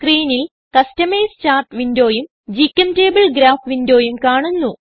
സ്ക്രീനിൽ customise chart വിൻഡോയും ഗ്ചെംറ്റബിൾ ഗ്രാഫ് വിൻഡോയും കാണുന്നു